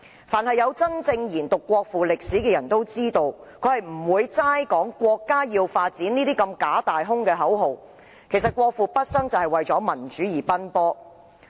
凡有真正研讀國父事蹟的人都知道，他不會只談"國家要發展"這些假大空的口號，他畢生為民主而奔波。